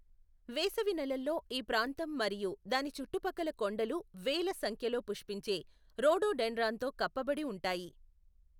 వేసవి నెలల్లో ఈ ప్రాంతం మరియు దాని చుట్టుపక్కల కొండలు వేల సంఖ్యలో పుష్పించే రోడోడెండ్రాన్తో కప్పబడి ఉంటాయి.